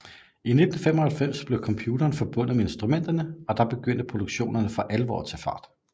I 1995 blev computeren forbundet med instrumenterne og der begyndte produktionerne for alvor at tage fart